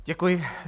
Děkuji.